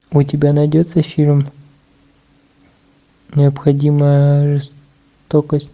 у тебя найдется фильм необходимая жестокость